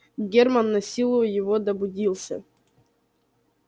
германн насилу его добудился